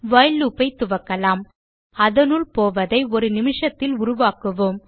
while loop ஐ துவக்கலாம் அதனுள் போவதை ஒரு நிமிஷத்தில் உருவாக்குவோம்